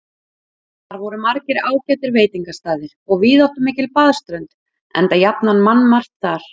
Þar voru margir ágætir veitingastaðir og víðáttumikil baðströnd, enda jafnan mannmargt þar.